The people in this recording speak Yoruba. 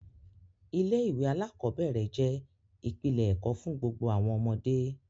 Ilé-ìwé aláàkọ́bẹ̀rẹ̀ jẹ́ ìpìlẹ̀ ẹ̀kọ́ fún gbogbo àwọn ọmọdé.